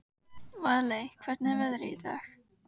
Valey, hvernig er veðrið í dag?